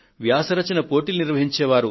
వ్యాస రచనలో పోటీ పెట్టే వారు